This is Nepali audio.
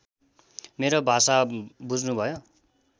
मेरो भाषा बुझ्नुभयो